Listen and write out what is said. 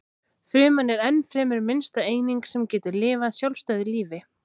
Fruman er ennfremur minnsta eining sem getur lifað sjálfstæðu lífi.